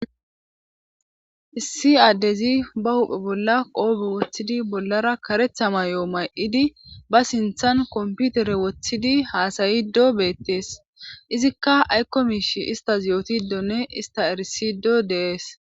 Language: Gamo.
issi addezi ba huphe bolla qoobe woththidi bollara karetha mayo may'idi ba sinthan komputere woththidi haasayido beettees izikka aykko miish istas yootidonne ista erisido de'ees